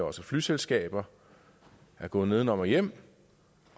også flyselskaber er gået nedenom og hjem